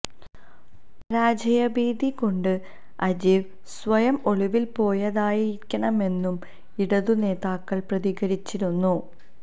പരാജയഭീതി കൊണ്ട് അജീവ് സ്വയം ഒളിവില് പോയതായിരിക്കാമെന്നും ഇടത് നേതാക്കള് പ്രതികരിച്ചിരുന്നു